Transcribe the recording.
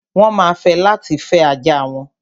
Wọ́n ma fẹ́ láti fẹ́ ajá wọn.